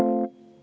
Hea ettekandja!